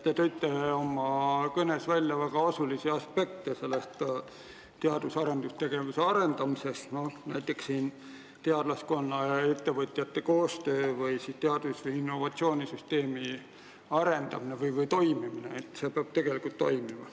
Te tõite oma kõnes välja väga olulisi teadus- ja arendustegevuse aspekte, näiteks teadlaskonna ja ettevõtjate koostöö või innovatsioonisüsteemi arendamine või toimimine.